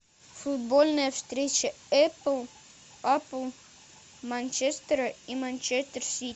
футбольная встреча эпл апл манчестера и манчестер сити